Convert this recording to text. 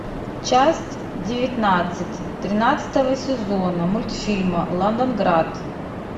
часть девятнадцать тринадцатого сезона мультфильма лондонград